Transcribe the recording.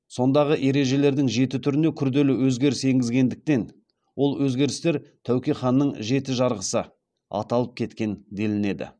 сондағы ережелердің жеті түріне күрделі өзгеріс енгізгендіктен ол өзгерістер тәуке ханның жеті жарғысы аталып кеткен делінеді